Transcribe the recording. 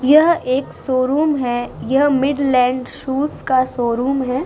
यह एक शोरूम है। यह मिडलैंड शूज का शोरूम है।